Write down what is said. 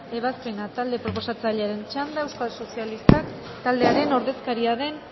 ebazpena talde proposatzailearen txanda euskal sozialistak taldearen ordezkaria den